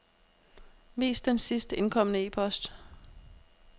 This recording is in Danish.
Vis den sidst indkomne e-post.